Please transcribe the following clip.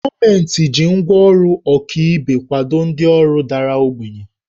Gọọmenti jiri ngwá ọrụ ọkaibe kwado ndị ọrụ dara ogbenye